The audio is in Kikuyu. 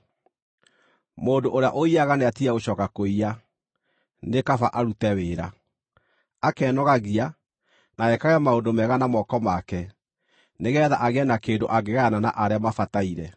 Mũndũ ũrĩa ũiyaga, nĩatige gũcooka kũiya, nĩ kaba arute wĩra, akenogagia, na ekage maũndũ mega na moko make, nĩgeetha agĩe na kĩndũ angĩgayana na arĩa mabataire.